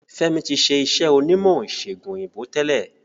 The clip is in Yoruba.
F'emi tí ṣe iṣé onímò ìsègùn òyìnbó tẹlẹ